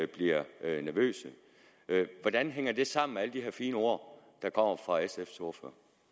bliver nervøse hvordan hænger det sammen med alle de her fine ord der kommer fra sfs ordfører